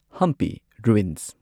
Hampi ruins